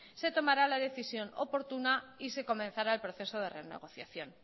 se tomara la decisión oportuna y se comenzara el proceso de renegociación